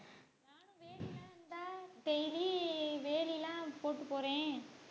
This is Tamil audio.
daily வேலி எல்லாம் போட்டு போறேன்.